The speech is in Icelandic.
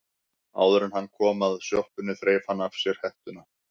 Áður en hann kom að sjoppunni þreif hann af sér hettuna.